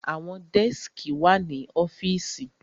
Àwọn dẹ́skì wà ní ọ́fìsì.